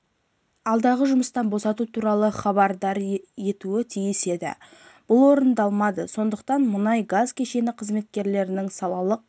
алдағы жұмыстан босату туралы хабардар етуі тиіс еді бұл орындалмады сондықтан мұнай-газ кешені қызметкерлерінің салалық